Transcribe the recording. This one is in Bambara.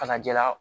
Ka na ja la